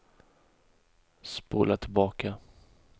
spola tillbaka